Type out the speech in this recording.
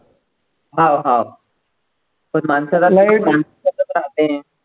हा हा पण माणसाला लय राहते.